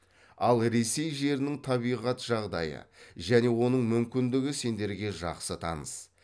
ал ресей жерінің табиғат жағдайы және оның мүмкіндігі сендерге жақсы таныс